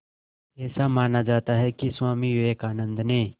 ऐसा माना जाता है कि स्वामी विवेकानंद ने